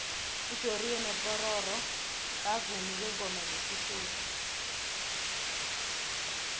ujoriyo nopororo bavumi bengoma zesikhethu